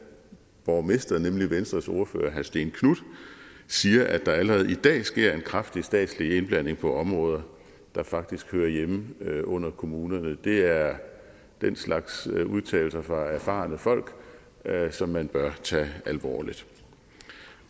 borgmester nemlig venstres ordfører herre stén knuth siger at der allerede i dag sker en kraftig statslig indblanding på områder der faktisk hører hjemme under kommunerne det er den slags udtalelser fra erfarne folk som man bør tage alvorligt